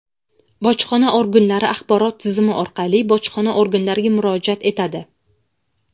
bojxona organlari axborot tizimi orqali bojxona organlariga murojaat etadi.